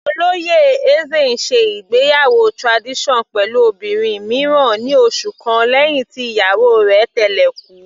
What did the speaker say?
Olóyè Eze ń ṣe ìgbéyàwó tradition pẹ̀lú obìnrin mìíràn ní oṣù kan lẹ́hìn tí ìyàwó rẹ̀ tẹ́lẹ̀ kú.